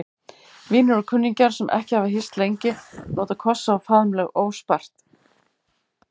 Vinir og kunningjar, sem ekki hafa hist lengi, nota kossa og faðmlög óspart.